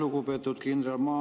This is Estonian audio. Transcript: Lugupeetud kindral!